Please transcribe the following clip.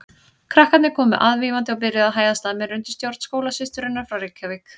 Krakkarnir komu aðvífandi og byrjuðu að hæðast að mér undir stjórn skólasysturinnar frá Reykjavík.